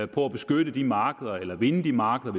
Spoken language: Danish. på at beskytte de markeder eller vinde de markeder